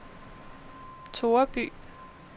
Toreby